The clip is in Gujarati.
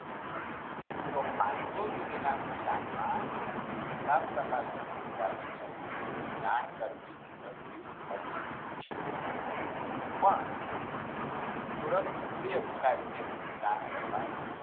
તો પાનસો સુધીના નુકશાન માં તાપતાપશની અધિકારીને જાણ કરવી જરૂરી હતી પણ તુરત ઉપરી અધિકારી ને જાણ કરવાની